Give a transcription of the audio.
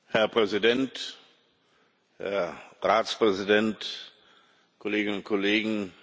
Herr Präsident, Herr Ratspräsident, Kolleginnen und Kollegen!